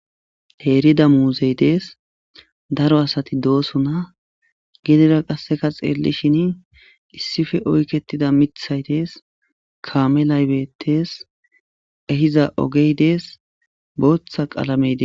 teerida muuzey dees daro asati doosuna gidera qasseka xeelli shin issife oyketida mithay dees kaame laybettes ehiza ogey dees booththa qalamey des